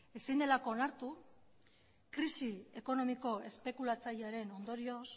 ezin delako onartu krisi ekonomiko espekulatzailearen ondorioz